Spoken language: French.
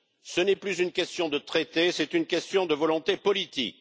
Ce n'est plus une question de traité, c'est une question de volonté politique.